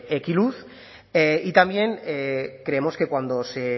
ekiluz y también creemos que cuando se